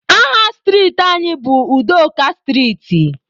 Aha striiti anyị bụ Udoka striiti.